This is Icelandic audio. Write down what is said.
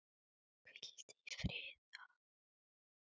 Hvíldu í friði, afi.